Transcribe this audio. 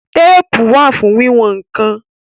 Téèpù wà fún wíwọn nǹkan